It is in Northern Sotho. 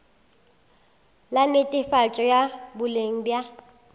la netefatšo ya boleng bja